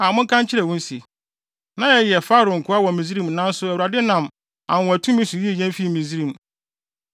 a monka nkyerɛ wɔn se, “Na yɛyɛ Farao nkoa wɔ Misraim nanso Awurade nam anwonwatumi so yii yɛn fii Misraim.